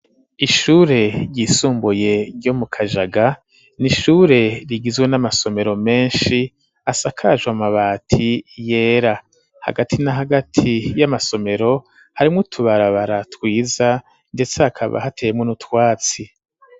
Ishure ryisumbuye ryo mu Kajaga, ni ishure rigizwe n'amasomero menshi, asakajwe amabati yera. Hagati na hagati y'amasomero, harimwo utubarabara twiza, ndetse hakaba hateyemwo n'utwatsi.